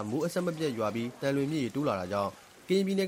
မိုးအဆက်မပြတ်ရွာပြီး သံလွင်မြစ်ရေ ဆက်လက်တက်နေတာကြောင့် ကရင်ပြည်နယ်